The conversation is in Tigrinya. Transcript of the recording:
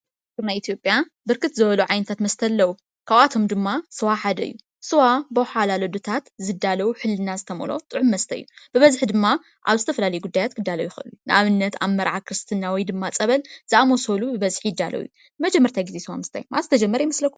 ሃገርና ኢትዮጵያ ብርክ ዝበሉ ዓይነታት መስተ አለው፤ ካብአቶ ድማ ስዋ ሓደ እዩ ስዋ ብውሓላሉ እዴታት ዝዳሎ ውሕልና ዝተመልኦ ጥዑም መስተ እዩ፤ ብበዝሒ ድማ አብ ዝተፈላለየ ጉዳያት ክዳሎ ይክእል እዩ፤ ንአብነት መርዓ፣ ክርስትና ወይ ድማ ፀበል ዝአመሰሉ ብበዝሒ ይዳሎ እዩ። ንመጀመርታ ግዘ ስዋ ምስታይ መዓዝ ዝተጀመረ ይመስለኩም ?